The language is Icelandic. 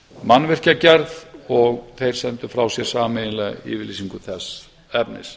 mannvirkjagerð og þeir sendu frá sér sameiginlega yfirlýsingu þess efnis